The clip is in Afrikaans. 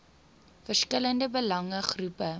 verskillende belange groepe